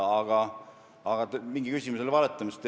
Aga mingi küsimus oli valetamisest.